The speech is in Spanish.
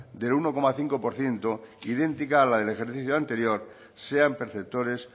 de uno coma cinco por ciento idéntica a la del ejercicio anterior sean perceptores